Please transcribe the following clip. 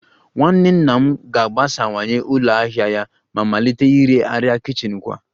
Nwanne nna m ga-agbasawanye ụlọ ahịa ya ma malite ire arịa kichin kwa